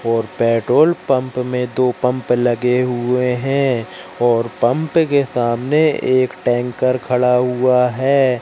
और petrol pump मे दो पंप लगे हुए है और पंप के सामने एक टैंकर खड़ा हुआ है।